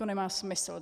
To nemá smysl.